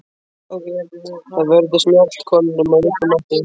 Þær vörðust mjaltakonunum af öllum mætti.